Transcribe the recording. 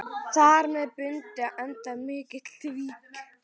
Þar með bundinn endi á mikinn tvíverknað.